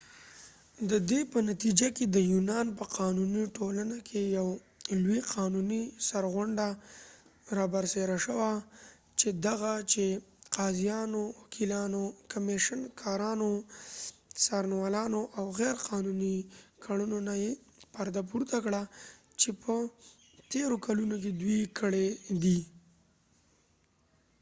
ددې په نتیجه کې د یونان په قانونی ټولنه کې یو لوي قانونی سرغړونه رابرسیره شوه چې دغه چې قاضیانو وکېلانو کمیشن کارانو څارنوالانو د غیر قانونی کړنو نه یې پرده پورته کړه چې يه تیرو کلونو کې دوي کړي دي